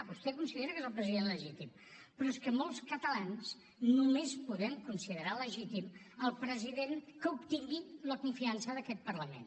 vostè considera que és el president legítim però és que molts catalans només podem considerar legítim el president que obtingui la confiança d’aquest parlament